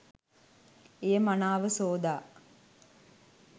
එය මනාව සෝදා